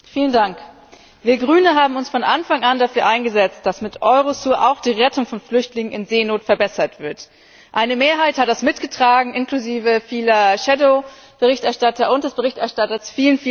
Frau Präsidentin! Wir als Grüne haben uns von Anfang an dafür eingesetzt, dass mit Eurosur auch die Rettung von Flüchtlingen in Seenot verbessert wird. Eine Mehrheit hat das mitgetragen inklusive vieler Schattenberichterstatter und des Berichterstatters.